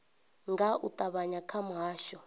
nga u ṱavhanya kha muhasho